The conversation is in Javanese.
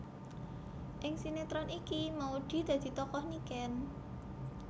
Ing sinetron iki Maudy dadi tokoh Niken